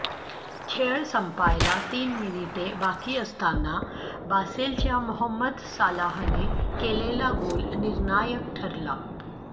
खेळ संपायला तीन मिनिटे बाकी असताना बासेलच्या मोहम्मद सालाहने केलेला गोल निर्णायक ठरला